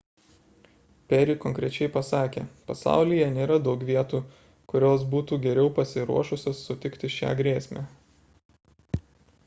perry konkrečiai pasakė pasaulyje nėra daug vietų kurios būtų geriau pasiruošusios sutikti šią grėsmę